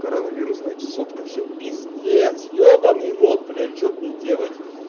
коронавирусная чесотка всё пиздец ёбанный рот блять что мне делать